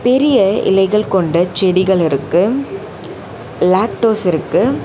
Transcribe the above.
பெரிய இலைகள் கொண்ட செடிகள் இருக்கு லேக்டோஸ் இருக்கு.